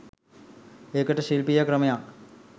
ඒකට ශිල්පීය ක්‍රමයක්